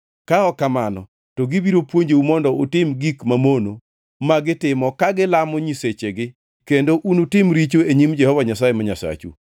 Ka ok kamano to gibiro puonjou mondo utim gik mamono ma gitimo kagilamo nyisechigi kendo unutim richo e nyim Jehova Nyasaye ma Nyasachu.